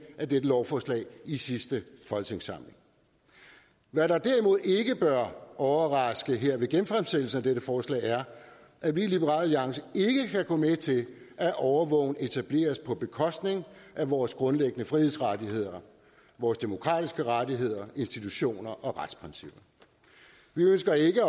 af dette lovforslag i sidste folketingssamling hvad der derimod ikke bør overraske her ved genfremsættelsen af dette forslag er at vi i liberal alliance ikke kan gå med til at overvågning etableres på bekostning af vores grundlæggende frihedsrettigheder vores demokratiske rettigheder institutioner og retsprincipper vi ønsker ikke